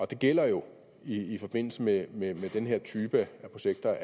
det gælder jo i forbindelse med med den her type af projekter